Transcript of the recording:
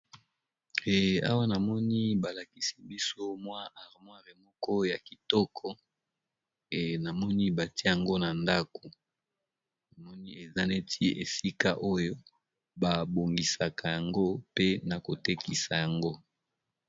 Awa namoni balakisi biso mwa armoir emoko ya kitoko namoni batia yango na ndako namoni eza neti esika oyo babongisaka yango pe na kotekisa yango.